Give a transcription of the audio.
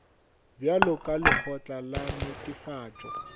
bjalo ka lekgotla la netefatšo